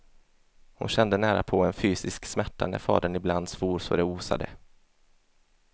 Hon kände närapå en fysisk smärta när fadern ibland svor så det osade.